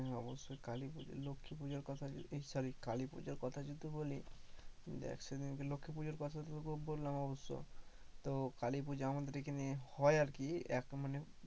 হ্যাঁ অবশ্যই কালী পুজো লক্ষ্মী পুজোর কথা এই sorry কালী পুজোর কথা যদি বলি, দেখ সেদিন লক্ষ্মী পুজোর কথা তোকে বললাম অবশ্য তো কালী পুজো আমাদের এইখানে হয় আরকি এক মানে